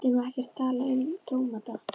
Hann vildi nú ekkert tala um tómata.